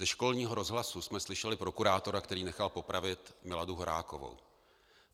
Ze školního rozhlasu jsme slyšeli prokurátora, který nechal popravit Miladu Horákovou.